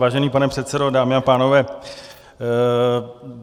Vážený pane předsedo, dámy a pánové.